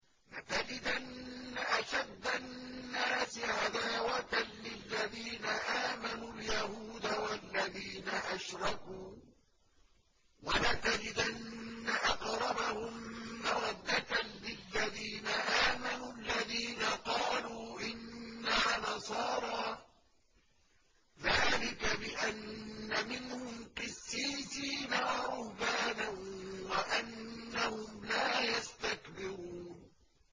۞ لَتَجِدَنَّ أَشَدَّ النَّاسِ عَدَاوَةً لِّلَّذِينَ آمَنُوا الْيَهُودَ وَالَّذِينَ أَشْرَكُوا ۖ وَلَتَجِدَنَّ أَقْرَبَهُم مَّوَدَّةً لِّلَّذِينَ آمَنُوا الَّذِينَ قَالُوا إِنَّا نَصَارَىٰ ۚ ذَٰلِكَ بِأَنَّ مِنْهُمْ قِسِّيسِينَ وَرُهْبَانًا وَأَنَّهُمْ لَا يَسْتَكْبِرُونَ